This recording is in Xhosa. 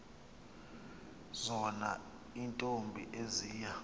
zona iintombi eziya